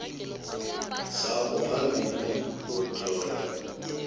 sakho phambili ngokutlola